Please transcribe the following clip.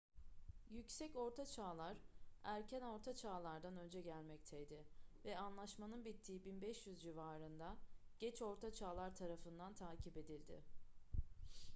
yüksek ortaçağlar erken orta çağlar'dan önce gelmekteydi ve anlaşmanın bittiği 1500 civarında geç orta çağlar tarafından takip edildi